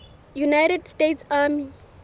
united states army